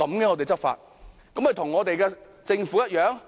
這豈非與我們的政府一樣？